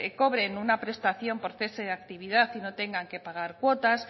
cobren una prestación por cese de actividad y no tengan que pagar cortas